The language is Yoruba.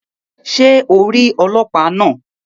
Ṣe o ń ríi ọlọpa náa?